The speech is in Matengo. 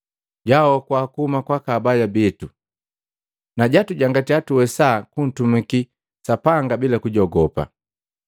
Jwahokua kuhuma kwaka abaya bitu, na jatujangatya tuwesa kuntumiki Sapanga bila kujogopa.